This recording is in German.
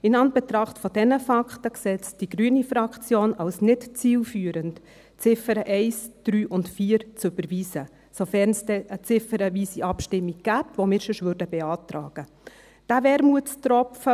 In Anbetracht dieser Fakten sieht es die grüne Fraktion als nicht zielführend an, die Ziffern 1, 3 und 4 zu überweisen – sofern es denn eine ziffernweise Abstimmung gibt, die wir sonst beantragen würden.